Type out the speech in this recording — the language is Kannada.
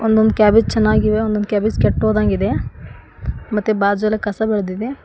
ಒಂದೊಂದ್ ಕ್ಯಾಬೇಜ್ ಚೆನ್ನಾಗಿವೆ ಒಂದೊಂದ್ ಕ್ಯಾಬೇಜ್ ಕೆಟೋದಂಗ್ ಇದೆ ಮತ್ತೆ ಬಾಜಲಿ ಕಸ ಬೆಳದಿದೆ.